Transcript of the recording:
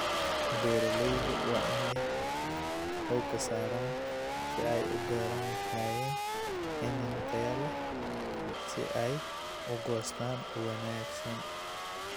Beeralayda waa in ay xooga saaraan sidii ay u beeri lahaayeen iniin tayo leh si ay u goostaan ​​ugu wanaagsan.